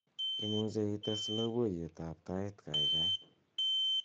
imuche itess loboiyet ab tait gaigai